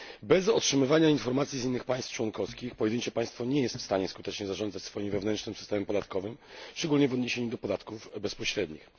Bez otrzymywania informacji z innych państw członkowskich pojedyncze państwo nie jest w stanie skutecznie zarządzać swoim wewnętrznym systemem podatkowym, szczególnie w odniesieniu do podatków bezpośrednich.